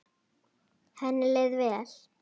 Henni leið vel.